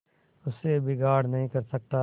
उससे बिगाड़ नहीं कर सकता